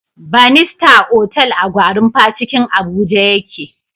Banista otal a gwarinpa cikin abuja ya ke